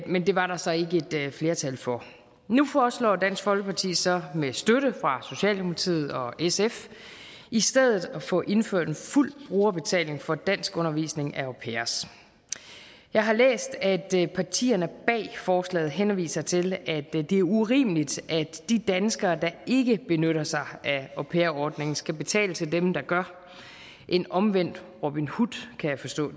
men det var der så ikke et flertal for nu foreslår dansk folkeparti så med støtte fra socialdemokratiet og sf i stedet at få indført en fuld brugerbetaling for danskundervisning af au pairer jeg har læst at partierne bag forslaget henviser til at det er urimeligt at de danskere der ikke benytter sig af au pair ordningen skal betale til dem der gør en omvendt robin hood kan jeg forstå